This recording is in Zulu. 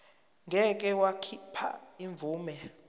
ngeke wakhipha imvume